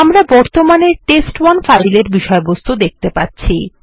আমরা বর্তমানে test one file এর বিষয়বস্তু দেখতে পাচ্ছি